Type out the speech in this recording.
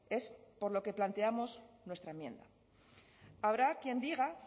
es por lo que planteamos nuestra enmienda habrá quien diga